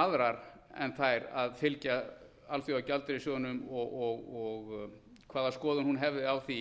aðrar en þær að fylgja alþjóðagjaldeyrissjóðnum og hvaða skoðun hún hefði á því